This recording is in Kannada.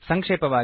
ಸಂಕ್ಷೇಪವಾಗಿ